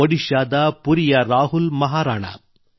ಒಡಿಶಾದ ಪುರಿಯ ರಾಹುಲ್ ಮಹಾರಾಣಾ